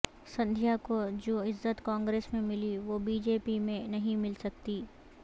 سندھیا کوجوعزت کانگریس میں ملی وہ بی جے پی میں نہیں مل سکتی